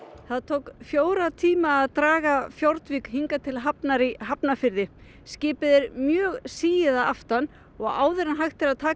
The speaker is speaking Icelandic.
það tók fjóra tíma að draga hingað til hafnar í Hafnarfirði skipið er mjög sigið að aftan og áður en hægt er að taka